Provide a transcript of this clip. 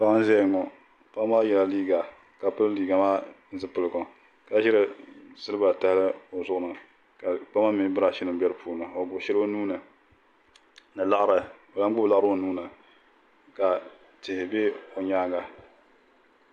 Paɣa n ʒɛya ŋo paɣa maa yɛla liiga ka pili liiga maa zipiligu ka ʒiri siliba tahali o zuɣu ni ka kpama mini birash nim bɛ di puuni o gbubi shɛli o nuuni ni laɣari o lahi gbubi laɣari o nuuni ka tihi bɛ o nyaanga